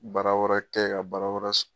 Baara wɛrɛ kɛ ka baara wɛrɛ sɔrɔ